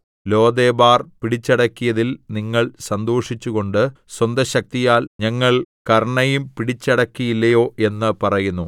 Lodebar‍ പിടിച്ചടക്കിയതില്‍ നിങ്ങൾ സന്തോഷിച്ചുകൊണ്ട് സ്വന്തശക്തിയാൽ ഞങ്ങൾ കര്‍ണ്ണയിം പിടിച്ചടക്കിയില്ലയോ എന്ന് പറയുന്നു